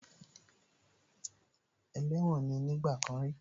Ẹlẹ́wọ̀n ní nígbà kan rí